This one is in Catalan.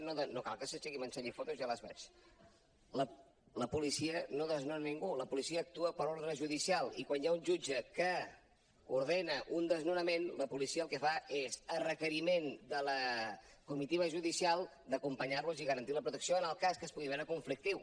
no cal que s’aixequi i m’ensenyi fotos ja les veig la policia no desnona ningú la policia actua per ordre judicial i quan hi ha un jutge que ordena un desnonament la policia el que fa és a requeriment de la comitiva judicial acompanyar los i garantir la protecció en el cas que es pugui veure conflictiu